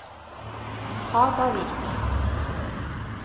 Hagavik